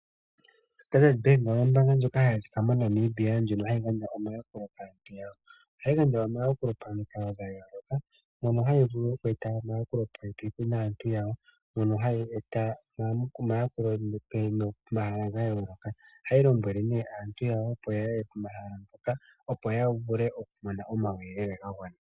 O standard Bank oyo ombaanga ndjoka hayi adhika moNamibia ndjono hayi gandja omayakulo kaantu yawo, ohayi gandja omayakulo pamikalo dha yooloka mono hayi vulu oku eta omayakulo popepi naantu yawo. Mono hayi eta omayakulo pomahala ga yooloka. Ohayi lombwele nee aantu yawo, opo ya ye pomahala mpoka opo ya vule mone omayeyelele ga gwana.